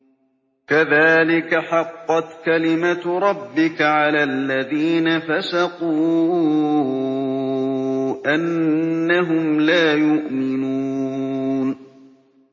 كَذَٰلِكَ حَقَّتْ كَلِمَتُ رَبِّكَ عَلَى الَّذِينَ فَسَقُوا أَنَّهُمْ لَا يُؤْمِنُونَ